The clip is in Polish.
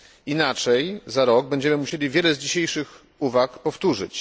Inaczej za rok będziemy musieli wiele z dzisiejszych uwag powtórzyć.